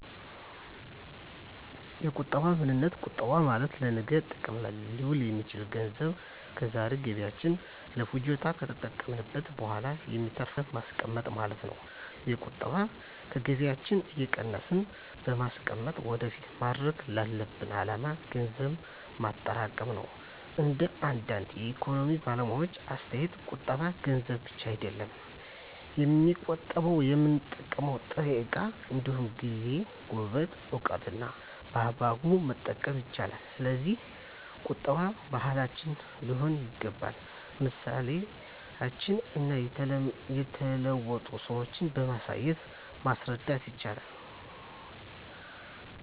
የቁጠባ ምንነት ቁጠባ ማለት ለነገ ጥቅም ላይ ሊውል የሚችል ገንዘብ ከዛሬ ገቢያችን ለፍጆታ ከተጠቀምንት በኋላ የሚተርፍን ገንዘብን ማስቀመጥ ማለት ነው። የቁጠባ ከገቢያችን እየቀነስን በማስቀመጥ ወደፊት ማድረግ ላሰብነው አላማ ገንዘብ ማጠራቀም ነው። እንደ አንዳንድ የኢኮኖሚክስ ባለሙያዎች አስተያየት ቁጠባ ገንዘብ ብቻ አይደለም የሚቆጠበው የምንጠቀመው ጥሬ እቃ እንዲሁም ጊዜ፣ ጉልበትን፣ እውቀትን በአግባቡ መቆጠብ ይቻላል። ስለዚህ ቁጠባ ባህላችን ሊሆን ይገባል ምሳሌዎችን እና የተለወጡ ሰዎችን በማሳየት ማስረዳት ይቻላል